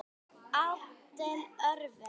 Andleg örvun.